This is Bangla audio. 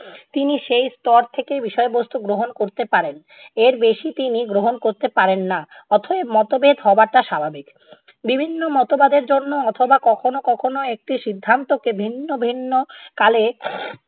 তিনি সেই স্তর থেকেই বিষয়বস্তু গ্রহণ করতে পারেন, এর বেশি তিনি গ্রহণ করতে পারেন না। অতএব মতভেদ হওয়াটা স্বাভাবিক। বিভিন্ন মতবাদের জন্য অথবা কখনও কখনও একটি সিদ্ধান্তকে ভিন্ন ভিন্ন কালে